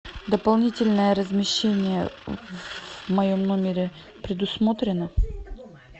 дополнительное размещение в моем номере предусмотрено